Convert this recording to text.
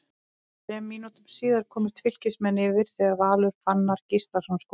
Þremur mínútum síðar komust Fylkismenn yfir þegar Valur Fannar Gíslason skoraði.